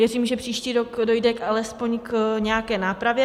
Věřím, že příští rok dojde alespoň k nějaké nápravě.